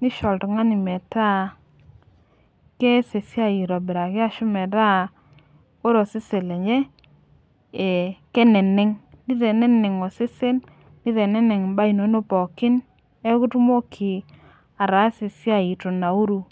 nisho oltungani metaa kees esiai aitobiraki ashu metaa, ore osesen lenye keneneng'.kiteneneng' osesen, niteneng' imbaa inonok pookin neeku itumoki ataasa esiai eitu inauru.